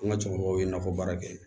An ka cɛkɔrɔba ye nakɔ baara kɛ